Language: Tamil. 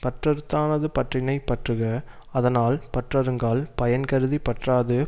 பற்றறுத்தானது பற்றினைப் பற்றுக அதனால் பற்றறுங்கால் பயன் கருதி பற்றாது